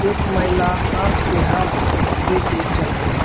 एक महिला हाथ पे हाथ दे के चल रही --